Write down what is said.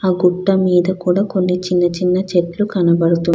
ఆ గుట్ట మీద కూడా కొన్ని చిన్న చిన్న చెట్లు కనబడుతు --